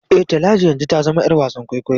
E, Talatu yanzu ta zama ‘yar wasan kwaikwayo.